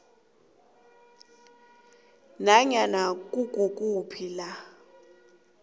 nanyana kukuphi la